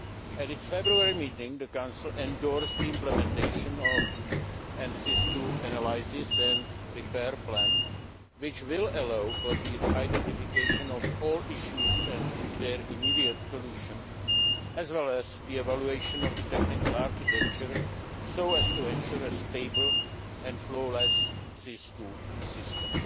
At its February meeting, the Council endorsed the implementation of the SIS II analysis and repair plan, which will allow for the identification of all issues and their immediate solution, as well as the evaluation of the technical architecture so as to ensure a stable and flawless SIS II system.